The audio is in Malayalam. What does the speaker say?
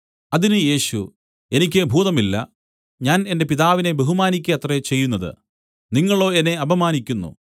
അതിന് യേശു എനിക്ക് ഭൂതമില്ല ഞാൻ എന്റെ പിതാവിനെ ബഹുമാനിയ്ക്ക അത്രേ ചെയ്യുന്നതു നിങ്ങളോ എന്നെ അപമാനിക്കുന്നു